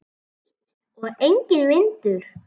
Hlýtt og enginn vindur.